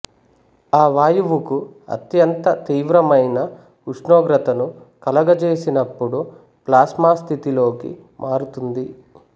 ఆ వాయువుకు అత్యంత తీవ్రమైన ఉష్ణోగత్రను కలుగజేసినప్పుడు ప్లాస్మా స్థితిలోకి మారుతుంది